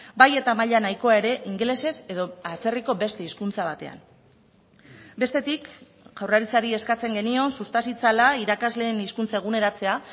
bai eta maila nahikoa ere ingelesez edo atzerriko beste hizkuntza batean bestetik jaurlaritzari eskatzen genion susta zitzala irakasleen hizkuntza eguneratzea